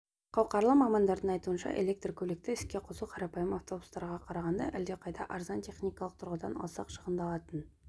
қауқарлы мамандардың айтуынша электр көлікті іске қосу қарапайым автобустарға қарағанда әлдеқайда арзан техникалық тұрғыдан алсақ шығындалатын